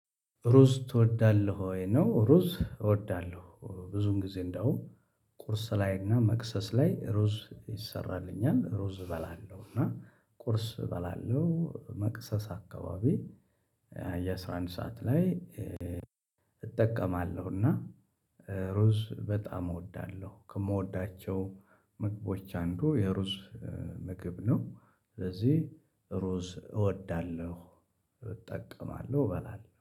ሩዝ ትወዳለሁ ወይ ነው? ሩዝ እወዳለሁ ብዙም ጊዜ እንደውም ቁርስ ላይ እና መክሰስ ላይ ሩዝ ይሰራልኛል ሩዝ እበላለሁ። እና ቁርስ እበላለሁ መክሰስ አካባቢ የአሥራ አንድ ሰዓት ላይ እጠቀማለሁ። እና ሮዝ በጣም እወዳለሁ ከምወዳቸው ምግቦች አንዱ የሩዝ ምግብ ነው። ስለዚህ ሩዝ እወዳለሁ እጠቀማለሁ እበላለሁ